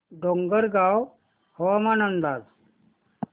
डोंगरगाव हवामान अंदाज